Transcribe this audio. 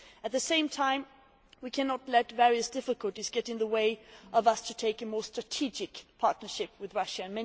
At the same time we cannot let various difficulties get in the way of us developing a more strategic partnership with Russia.